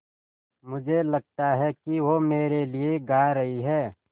मुझे लगता है कि वो मेरे लिये गा रहीं हैँ